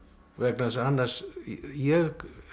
vegna þess að annars ég